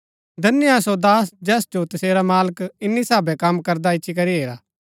धन्य हा सो दास जैस जो तसेरा मालक इन्‍नी साभै कम करदा इच्ची करी हेरा